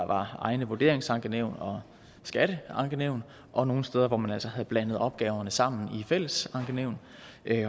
egne vurderingsankenævn og skatteankenævn og nogle steder hvor man altså havde blandet opgaverne sammen i fællesankenævn